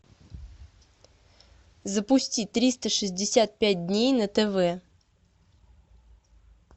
запусти триста шестьдесят пять дней на тв